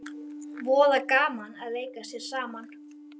Voða gaman að leika sér saman